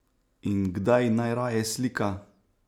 In kdaj najraje slika?